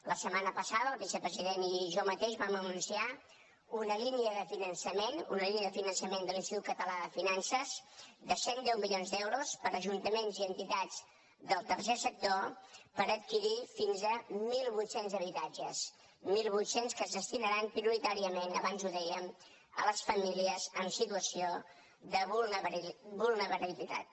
la setmana passada el vicepresident i jo mateix vam anunciar una línia de finançament una línia de finançament de l’institut català de finances de cent i deu milions d’euros per ajuntaments i entitats del tercer sector per adquirir fins a mil vuit cents habitatges mil vuit cents que es destinaran prioritàriament abans ho dèiem a les famílies amb situació de vulnerabilitat